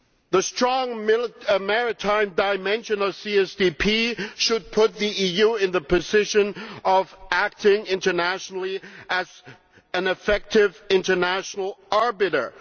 The strong maritime dimension of CSDP should put the EU in a position of acting internationally as an effective international arbiter.